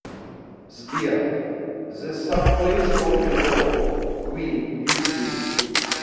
сбер зэ сабвэйс рок и ролл квин ютуб